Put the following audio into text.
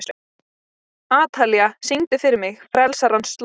Atalía, syngdu fyrir mig „Frelsarans slóð“.